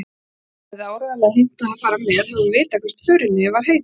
Ína hefði áreiðanlega heimtað að fara með, hefði hún vitað hvert förinni var heitið.